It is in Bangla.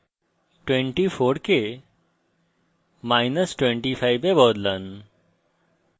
24 কে minus 25 এ বদলান